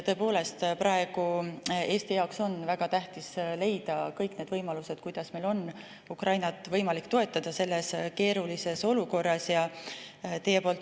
Tõepoolest, praegu on Eesti jaoks väga tähtis leida kõik need võimalused, kuidas meil on võimalik Ukrainat selles keerulises olukorras toetada.